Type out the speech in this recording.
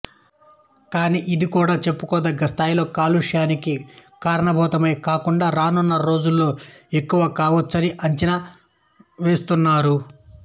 కానీ ఇది కూడా చెప్పుకోదగ్గ స్థాయిలో కాలుష్యానికి కారణభూతమే కాకుండా రానున్న రోజుల్లో ఎక్కువ కావచ్చునని అంచనా వేస్తున్నారు